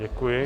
Děkuji.